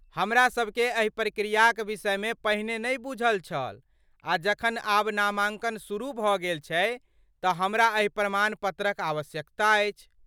हमरासभकेँ एहि प्रक्रियाक विषय मे पहिने नहि बूझल छल आ जखन आब नामांकन शुरू भऽ गेल छै तऽ हमरा एहि प्रमाण पत्रक आवश्यकता अछि।